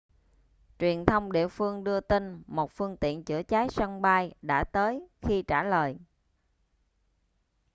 truyền thông địa phương đưa tin một phương tiện chữa cháy sân bay đã tới khi trả lời